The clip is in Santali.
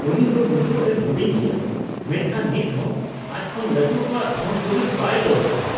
ᱩᱱᱤ ᱫᱚ ᱱᱤᱛᱚᱜ ᱮ ᱦᱩᱰᱤᱧ ᱜᱮᱭᱟ, ᱢᱮᱱᱠᱷᱟᱱ ᱱᱤᱛ ᱦᱚᱸ ᱟᱡᱽ ᱠᱷᱚᱱ ᱞᱟᱹᱴᱩ ᱠᱚᱣᱟᱜ ᱫᱷᱚᱱᱼᱫᱩᱨᱤᱵᱽ ᱵᱟᱭ ᱞᱚᱵᱷᱼᱟᱜᱼᱟ ᱾